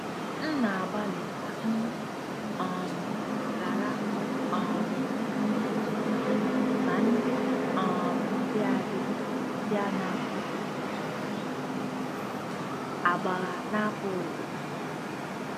" M na-agbalị ka m um ghara um inye ọtụtụ iwu, ma ndị um dị adị bụ ndị a na-apụghị ịgbagha agbagha na-apụghị ịgbagha agbagha.